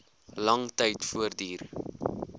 lang tyd voortduur